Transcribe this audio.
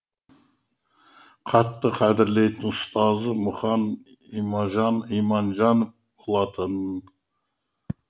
қатты қадірлейтін ұстазы мұқан иманжанов болатын